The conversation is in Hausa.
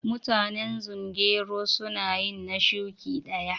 Mutanen zungeru su na yi na shuki daya.